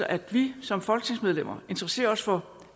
at vi som folketingsmedlemmer interesserer os for